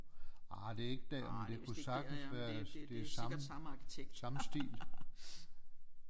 Ah det er ikke derinde det kunne sagtens være det samme samme stil